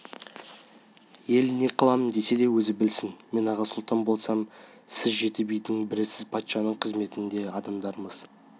ел не қыламын десе де өзі білсін мен аға сұлтан болсам сіз жеті бидің бірісіз патшаның қызметіндегі адамдармыз